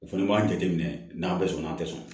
O fɛnɛ b'a jateminɛ n'a bɛ sɔn n'a tɛ sɔn